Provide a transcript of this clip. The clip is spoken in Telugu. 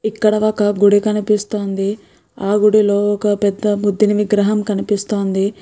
ఇక్కడ ఒక గుడి కనిపిస్తోంది ఆ గుడిలో ఒక పెద్ద బుద్ధుని విగ్రహం కనిపిస్తోంది.